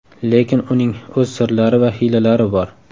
Lekin uning o‘z sirlari va hiylalari bor.